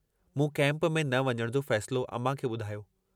मूं कैम्प में न वञण जो फ़ैसिलो अमां खे बुधायो।